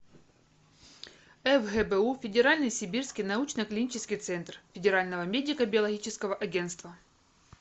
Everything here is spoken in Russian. фгбу федеральный сибирский научно клинический центр федерального медико биологического агентства